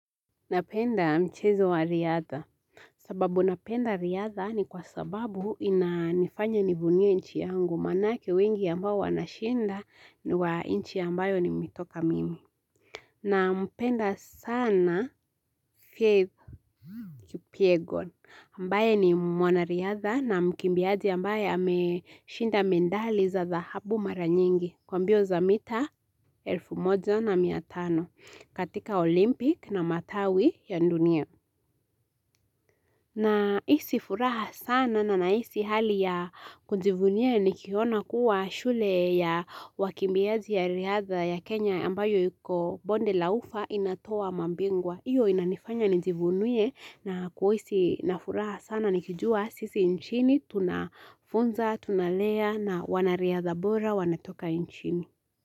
Napenda mchezo wa riadha sababu napenda riadha ni kwa sababu ina nifanya nivunie nchi yangu maanake wengi ambao wanashinda ni wa nchi ambayo ni mitoka mimi na mpenda sana faith Kipyegon ambaye ni mwana riadha na mkimbiaji ambaye ameshinda medali za za dhahabu mara nyingi kwambio za mita elfu moja na miatano katika olimpik na matawi ya dunia na hisi furaha sana na na isi hali ya kujivunia nikiona kuwa shule ya wakimbiazi ya riada ya Kenya ambayo yuko bonde laufa inatoa mabingwa. Iyo inanifanya nijivunie na kuwisi na furaha sana nikijua sisi nchini tunafunza, tunalea na wanariadha bora wanatoka nchini.